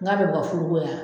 Nka bɛ bila firigola.